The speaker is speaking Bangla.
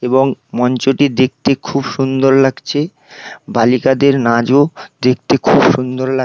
এবং মঞ্চটি দেখতে খুব সুন্দর লাগছে বালিকদের নাচ ও দেখতে খুব সুন্দর লাগছে।